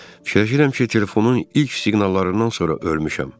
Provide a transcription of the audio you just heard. Fikirləşirəm ki, telefonun ilk siqnallarından sonra ölmüşəm.